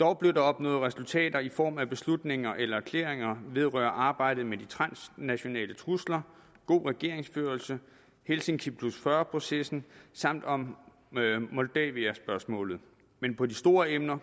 dog blev der opnået resultater i form af beslutninger eller erklæringer vedrørende arbejdet med de transnationale trusler god regeringsførelse helsinki 40 processen samt om moldaviaspørgsmålet men på de store emner